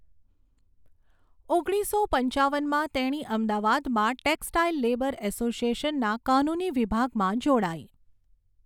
ઓગણીસો પંચાવનમાં તેણી અમદાવાદમાં ટેક્સટાઈલ લેબર એસોસિએશનના કાનૂની વિભાગમાં જોડાઈ.